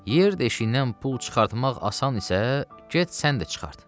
Yer deşiyindən pul çıxartmaq asan isə, get sən də çıxart.